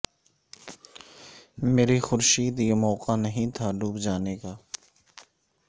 میرے خورشید یہ موقع نہیں تھا ڈوب جانے کا